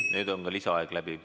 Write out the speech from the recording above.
Nüüd on ka lisaaeg läbi.